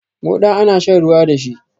Moɗa ana shan ruwa dashi